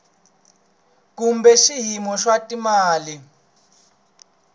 kumbe xiyimo xa swa timali